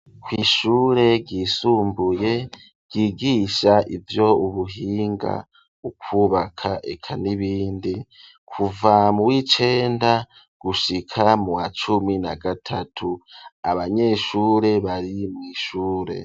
Kw'ishure ryisumbuye ryigisha ivyo ubuhinga ukubaka eka n'ibindi, kuva mu w'icenda gushika mu wa cumi na gatatu abanyeshure bari mw'ishure.